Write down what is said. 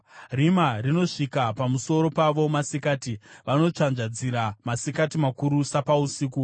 Rima rinosvika pamusoro pavo masikati; vanotsvanzvadzira masikati makuru sapausiku.